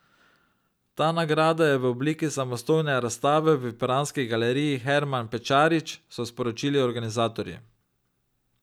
Ta nagrada je v obliki samostojne razstave v piranski galeriji Herman Pečarič, so sporočili organizatorji.